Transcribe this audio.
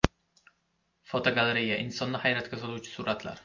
Fotogalereya: Insonni hayratga soluvchi suratlar.